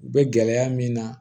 U bɛ gɛlɛya min na